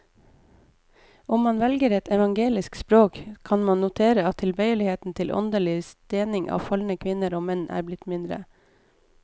Om man velger et evangelisk språk, kan man notere at tilbøyeligheten til åndelig stening av falne kvinner og menn er blitt mindre.